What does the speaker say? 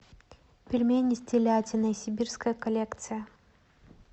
пельмени с телятиной сибирская коллекция